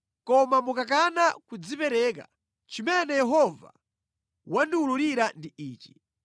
Koma mukakana kudzipereka, chimene Yehova wandiwululira ndi ichi: